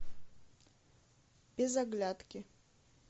без оглядки